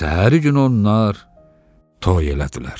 Və səhəri gün onlar toy elədilər.